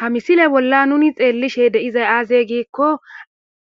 Ha misile bolla nuni xeellishe deizay aazey giikko